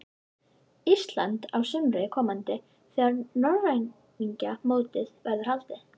Íslands á sumri komanda þegar norræna mótið verður haldið.